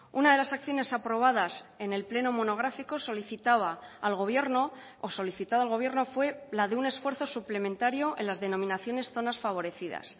una de las acciones aprobadas en el pleno monográfico solicitaba al gobierno o solicitado al gobierno fue la de un esfuerzo suplementario en las denominaciones zonas favorecidas